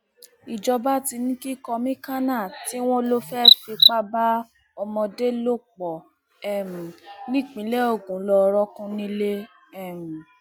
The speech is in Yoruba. ìjọba ti ní kí kọmíkànnà tí wọn lọ fẹẹ fipá bá ọmọdé lò pọ um nípìnlẹ ogun lọọ rọọkùn nílé um